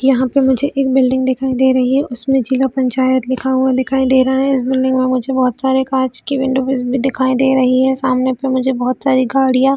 यहाँ पे मुझे एक बिल्डिंग दिखाई दे रही है उसमे जिला पंचायत लिखा हुआ दिखाई दे रहा है इस बिल्डिंग में मुझे बहोत सारे कांच के विंडो भी दिखाई दे रही है सामने पे मुझे बहोत सारी गाड़ियाँ--